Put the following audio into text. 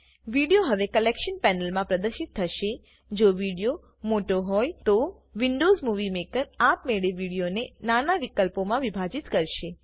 video હવે collection panel માં પ્રદશિત થશેજો વિડીઓ મોટો હોયતો વિન્ડોઝ મુવી મેકર આપમેળે વીડીઓને નાના વિકલ્પો મા વિભાજીત કરશે